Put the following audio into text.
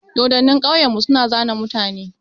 Dodonnin ƙauyan mu su na zane mutane.